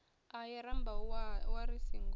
ahee rambau wa ri singo